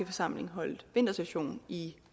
forsamling holdt vintersession i